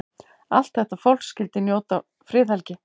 Allt þetta fólk skyldi njóta friðhelgi.